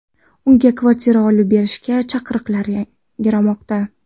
Unga kvartira olib berishga chaqiriqlar yangramoqda.